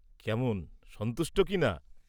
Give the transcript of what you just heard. কেমন সন্তুষ্ট কি না?